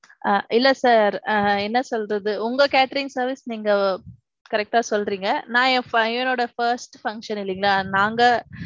ஆ இல்ல sir ஆஹ் என்ன சொல்றது உங்க catering service நீங்க correct அ சொல்றீங்க. நான் என் பையனோட first function இல்லிங்களா நாங்க